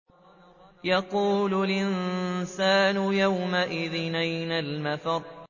يَقُولُ الْإِنسَانُ يَوْمَئِذٍ أَيْنَ الْمَفَرُّ